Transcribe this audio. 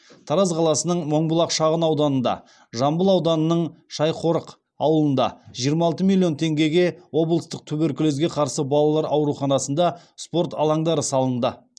тараз қаласының мыңбұлақ шағын ауданында жамбыл ауданының шайқорық ауылында жиырма алты миллион теңгеге облыстық туберкулезге қарсы балалар ауруханасында спорт алаңдары салынды